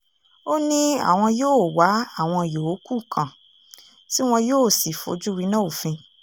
ó ní àwọn yóò wá àwọn yòókù kàn tí wọn yóò sì fojú winá òfin